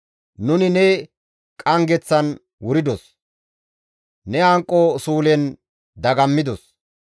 Nuni ne qanggeththan wuridos; ne hanqo suulen dagammidos.